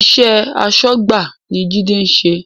Iṣẹ́ asọ́gbà ni Jide ń ṣe